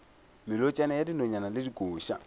melotšana ya dinonyane le dikoša